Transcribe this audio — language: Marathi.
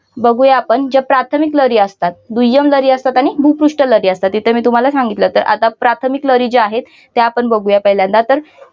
बघूया आपण ज्या प्राथमिक लहरी असतात दुय्यम लहरी असतात आणि भूपृष्ठ लहरी असतात. येथे मी तुम्हाला सांगितलं तर आत्ता प्राथमिक लहरी ज्या आहेत त्या आपण बघूया. पहिल्यांदा